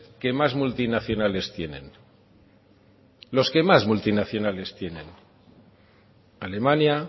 que más multinacionales tienen los que más multinacionales tienen alemania